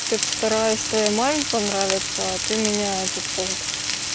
тут стараюсь твоей маме понравится а ты меня этот вот